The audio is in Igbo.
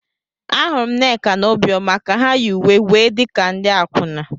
Ahụrụ m Nneka na Obioma ka ha yi uwe wee dị ka ndị akwụna.